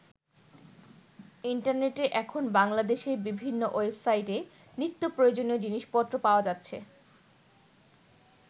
ইন্টারনেটে এখন বাংলাদেশের বিভিন্ন ওয়েবসাইটে নিত্যপ্রয়োজনীয় জিনিসপত্র পাওয়া যাচ্ছে।